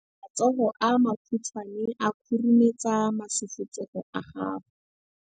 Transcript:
matsogo a makhutshwane a khurumetsa masufutsogo a gago.